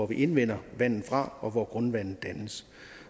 vi indvinder vandet fra og hvor grundvandet dannes